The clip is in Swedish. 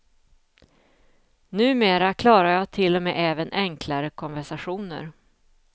Numera klarar jag till och med även enklare konversationer.